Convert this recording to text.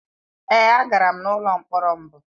Èé, agara m n’ụlọ mkpọrọ mbụ.